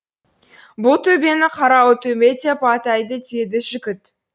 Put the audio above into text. бұл төбені қарауыл төбе деп атайды деді жігіт